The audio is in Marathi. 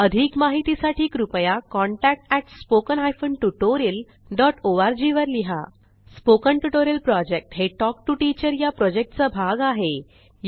अधिक माहितीसाठी कृपया contact at spoken hyphen tutorial dot O R G वर लिहा स्पोकन ट्युटोरियल प्रॉजेक्ट हे टॉक टू टीचर या प्रॉजेक्टचा भाग आहे